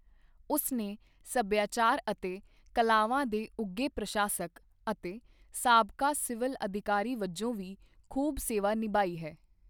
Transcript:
ਉਸਨੇ ਸੱਭਿਆਚਾਰ ਅਤੇ ਕਲਾਵਾਂ ਦੇ ਉਘੇ ਪ੍ਰਸ਼ਾਸਕ, ਅਤੇ ਸਾਬਕਾ ਸਿਵਲ ਅਧਿਕਾਰੀ ਵਜੋਂ ਵੀ ਖੂਬ ਸੇਵਾ ਨਿਭਾਈ ਹੈ।